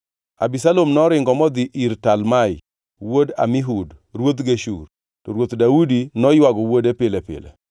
Abisalom noringo modhi ir Talmai wuod Amihud ruodh Geshur. To Ruoth Daudi noywago wuode pile pile.